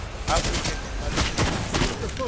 afrika lemalungelo eluntfu